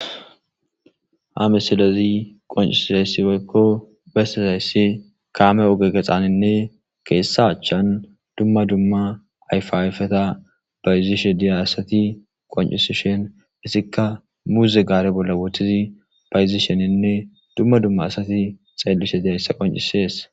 ha misilezi qoncisisayssi woykko besizayssi kaame oge gexaninne kethala chchan dumma dumma ayfa ayfeta bayzishe diya asati qoncisishen izikka muuze gaare bolla wothid bayzisheninne dumma dumma asati xeellishe dihayssa qoncisees